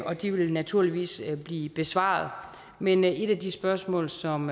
og de vil naturligvis blive besvaret men et af de spørgsmål som